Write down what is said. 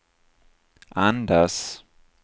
andas